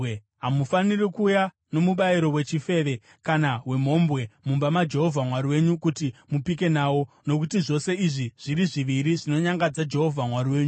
Hamufaniri kuuya nomubayiro wechifeve kana wemhombwe mumba maJehovha Mwari wenyu kuti mupike nawo. Nokuti zvose izvi zviri zviviri zvinonyangadza Jehovha Mwari wenyu.